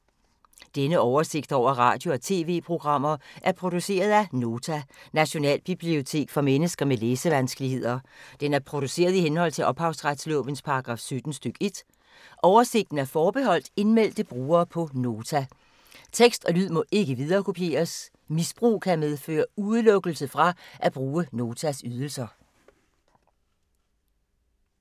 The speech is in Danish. Denne oversigt over radio og TV-programmer er produceret af Nota, Nationalbibliotek for mennesker med læsevanskeligheder. Den er produceret i henhold til ophavsretslovens paragraf 17 stk. 1. Oversigten er forbeholdt indmeldte brugere på Nota. Tekst og lyd må ikke viderekopieres. Misbrug kan medføre udelukkelse fra at bruge Notas ydelser.